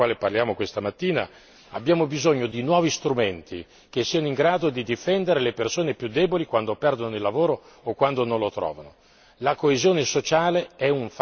Per quanto riguarda il pilastro sociale del quale parliamo questa mattina, abbiamo bisogno di nuovi strumenti che siano in grado di difendere le persone più deboli quando perdono il lavoro o quando non lo trovano.